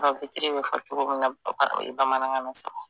bɛ fɔ cogo min na bamanankan na sa